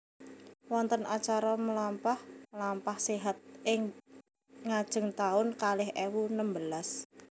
Wonten acara mlampah mlampah sehat ing ngajeng taun kalih ewu nembelas